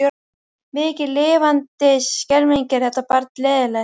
Mikið lifandis skelfing er þetta barn leiðinlegt.